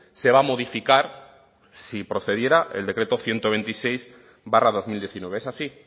se va a modificar si procediera el decreto ciento veintiséis barra dos mil diecinueve es así